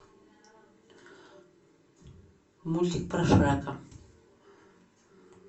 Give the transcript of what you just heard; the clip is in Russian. мультик про шрека